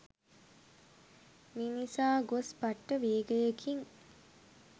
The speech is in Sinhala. මිනිසා ගොස් පට්ට වේගයකින්